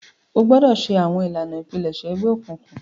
O gbọdọ ṣe awọn ilana ipilẹṣẹ egbeokunkun!